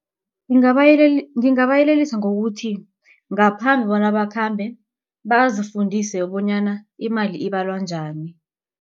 Ngingabayelelisa ngokuthi ngaphambi bona bakhambe bazifundise bonyana imali ibalwa njani.